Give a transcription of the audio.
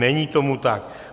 Není tomu tak.